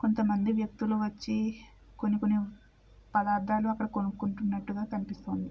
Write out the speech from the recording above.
కొంత మంది వ్యక్తులు వచ్చి కొన్ని కొన్ని పదార్ధాలు అక్కడ కొనుకుంటున్నట్టుగా కనిపిస్తుంది.